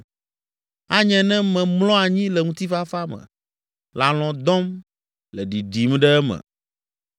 Anye ne memlɔ anyi le ŋutifafa me, le alɔ̃ dɔm, le ɖiɖim ɖe eme.